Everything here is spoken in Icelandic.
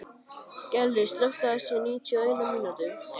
Gellir, slökktu á þessu eftir níutíu og eina mínútur.